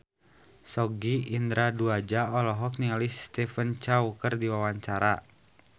Sogi Indra Duaja olohok ningali Stephen Chow keur diwawancara